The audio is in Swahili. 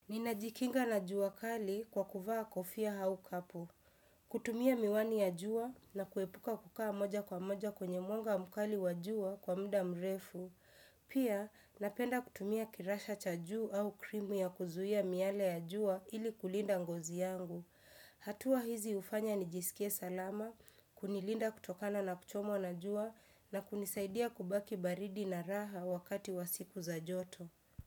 Ninajikinga na jua kali kwa kuvaa kofia au kapu. Kutumia miwani ya jua na kuepuka kukaa moja kwa moja kwenye mwanga mkali wa jua kwa mda mrefu. Pia napenda kutumia kirasha cha juu au krimu ya kuzuia miale ya juwa ili kulinda ngozi yangu. Hatua hizi ufanya nijisikie salama, kunilinda kutokana na kuchomwa na jua na kunisaidia kubaki baridi na raha wakati wa siku za joto.